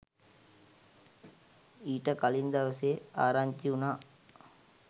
ඊට කලින් දවසේ ආරංචි වුණා